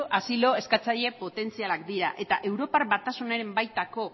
asilo eskatzaile potentzialak dira eta europar batasunaren baitako